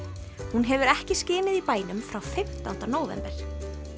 hún hefur ekki skinið í bænum frá fimmtánda nóvember